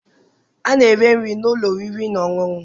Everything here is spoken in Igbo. A na-ere nri n'ụlọ oriri na ọṅụṅụ.